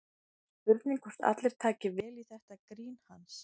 Spurning hvort allir taki vel í þetta grín hans?